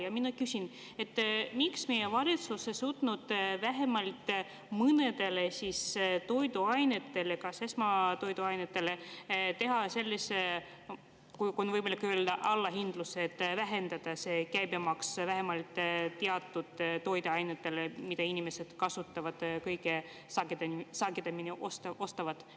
Ja mina küsin: miks meie valitsus ei suutnud vähemalt mõnele toiduainele, näiteks esmatoiduainetele, teha sellise, kui on võimalik öelda, allahindluse, vähendada käibemaksu vähemalt teatud toiduainetel, mida inimesed ostavad kõige sagedamini?